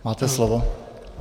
Máte slovo.